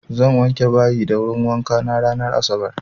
Zan wanke bayi da wurin wankana ranar asabar.